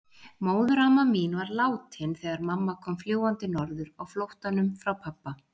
Móðuramma mín var látin þegar mamma kom fljúgandi norður á flóttanum frá pabba.